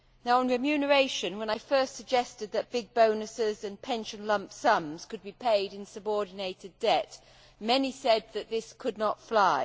On remuneration, when I first suggested that big bonuses and pension lump sums could be paid in subordinated debt, many said that this could not fly.